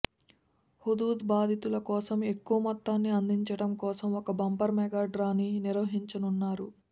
Hudhud బాధితుల కోసం ఎక్కువ మొత్తాన్ని అందించడం కోసం ఒక బంపర్ మెగా డ్రాని నిర్వహించనున్నారు